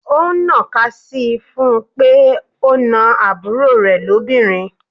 Ó ń ná ka sii fún pé ó na àbúrò rè lobinrin.